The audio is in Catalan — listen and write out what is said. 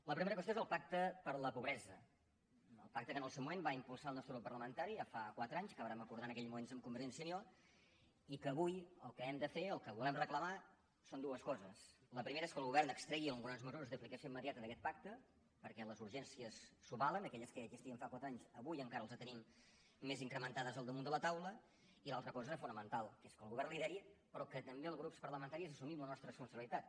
la primera qüestió és el pacte contra la pobresa el pacte que en el seu moment va impulsar el nostre grup parlamentari ja fa quatre anys que vàrem acordar en aquell moment amb convergència i unió i que avui el que hem de fer el que volem reclamar són dues coses la primera és que el govern extregui algunes mesures d’aplicació immediata d’aquest pacte perquè les urgències s’ho valen aquelles que ja existien fa quatre anys avui encara les tenim més incrementades al damunt de la taula i l’altra cosa fonamental que és que el govern ho lideri però que també els grups parlamentaris assumim la nostra responsabilitat